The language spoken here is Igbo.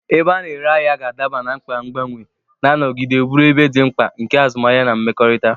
Ebe a na-ere ahịa ga-adaba na mkpa mgbanwe, na-anọgide bụrụ ebe dị mkpa nke azụmahịa na mmekọrịta.